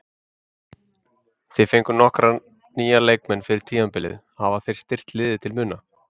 Þið fenguð nokkra nýja leikmenn fyrir tímabilið, hafa þeir styrkt liðið til muna?